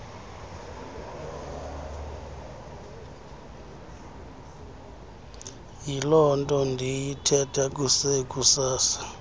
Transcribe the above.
yilonto ndiyithetha kusekusasa